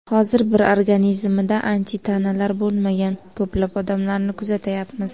Hozir bir organizmida antitanalar bo‘lmagan ko‘plab odamlarni kuzatyapmiz.